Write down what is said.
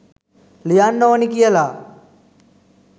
ලියන්න ඕනි කියලා.